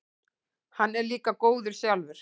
Hann er líka góður sjálfur.